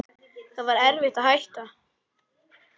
Það var erfitt að hætta.